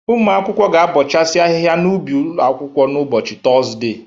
Ụmụ akwụkwọ ga-abọchasị ahịha n'ubi ụlọ akwụkwọ n'ụbọchị Tọzde.